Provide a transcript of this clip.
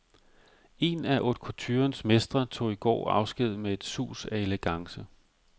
En af haute couturens mestre tog i går afsked med et sus af elegance.